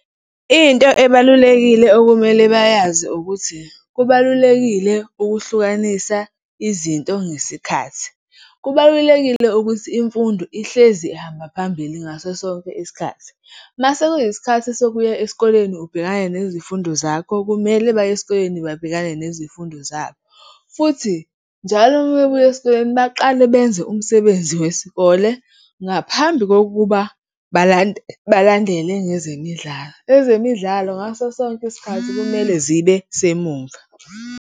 Into ebalulekile okumele bayazi ukuthi kubalulekile ukuhlukanisa izinto ngesikhathi. Kubalulekile ukuthi imfundo ihlezi ihamba phambili ngaso sonke isikhathi. Uma sekuyisikhathi sokuya esikoleni ubhekana nezifundo zakho, kumele baye esikoleni babhekane nezifundo zabo. Futhi njalo uma bebuya esikoleni, baqale benze umsebenzi wesikole ngaphambi kokuba balandele ngezemidlalo. Ezemidlalo, ngaso sonke isikhathi, kumele zibe semuva.